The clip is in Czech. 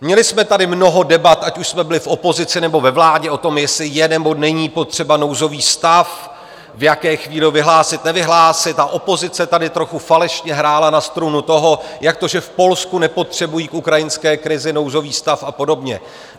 Měli jsme tady mnoho debat, ať už jsme byli v opozici, nebo ve vládě, o tom, jestli je, nebo není potřeba nouzový stav, v jaké chvíli ho vyhlásit, nevyhlásit, a opozice tady trochu falešně hrála na strunu toho, jak to, že v Polsku nepotřebují k ukrajinské krizi nouzový stav, a podobně.